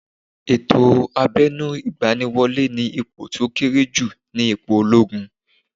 Ètò abẹnu igbaniwole ni ipò to kéré jù ni ipò ológun